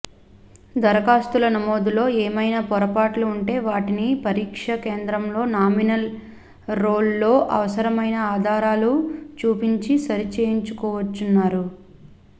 దరఖాస్తుల నమోదులో ఏమైనా పొరపాట్లు ఉంటే వాటిని పరీక్ష కేంద్రంలో నామినల్ రోల్లో అవసరమైన ఆధారాలు చూపించి సరి చేయించుకోవచ్చన్నారు